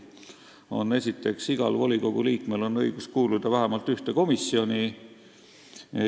Esiteks: "Igal volikogu liikmel on õigus kuuluda vähemalt ühte komisjoni.